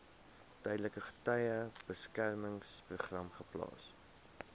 tydelike getuiebeskermingsprogram geplaas